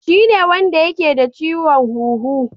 Shine wanda yake da ciwon huhu